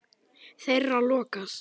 Þeirra lokað.